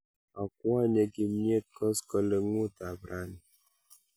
Akwonye kimnyet koskoling'ut ap raini